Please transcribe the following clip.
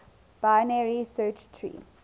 binary search tree